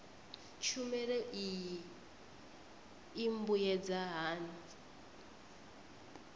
tshumelo iyi i mbuyedza hani